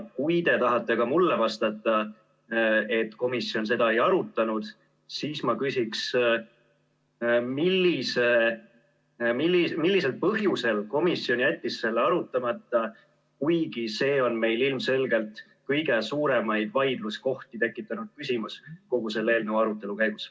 Kui te tahate ka mulle vastata, et komisjon seda ei arutanud, siis ma küsin, et mis põhjusel komisjon jättis selle arutamata, kuigi see on meil ilmselgelt kõige suuremat vaidlust tekitanud küsimus kogu selle eelnõu arutelu puhul.